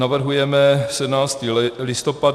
Navrhujeme 17. listopad -